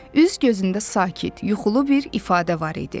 Üz-gözündə sakit, yuxulu bir ifadə var idi.